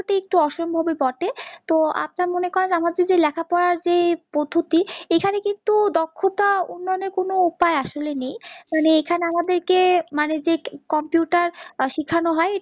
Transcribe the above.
একটু অসম্ভব ই বটে, তো আপনার মনে করেন আমার যদি লেখাপড়ার যে পদ্ধতি এখানে কিন্তু দক্ষতা উন্নয়ন এর কোনও উপাই আসলে নেই, মানে এখানে আমাদের কে মানে যে computer সেখান হয়